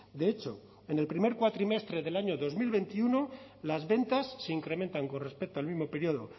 de hecho en el primer cuatrimestre del año dos mil veintiuno las ventas se incrementan con respecto al mismo periodo